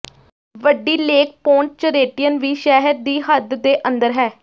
ਵੱਡੀ lake Pontchartrain ਵੀ ਸ਼ਹਿਰ ਦੀ ਹੱਦ ਦੇ ਅੰਦਰ ਹੈ